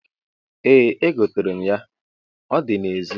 Ee, egoterem ya, o di na-ezi